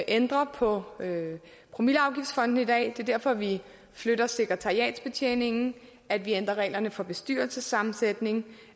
ændrer på promilleafgiftsfondene i dag det er derfor vi flytter sekretariatsbetjeningen at vi ændrer reglerne for bestyrelsessammensætningen